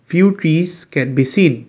few trees can be seen.